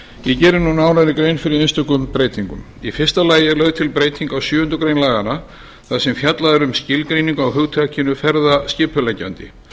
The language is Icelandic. ég geri nú nánari grein fyrir einstökum breytingum í fyrsta lagi er lögð til breyting á sjöundu grein laganna þar sem fjallað er um skilgreiningu á hugtakinu ferðaskipuleggjandi